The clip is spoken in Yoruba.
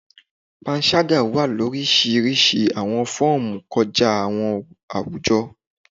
Panṣaga wa ni orisirisi awọn fọọmu kọja awọn awujo